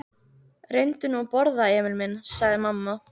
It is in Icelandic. Reyndu nú að borða, Emil minn, sagði mamma.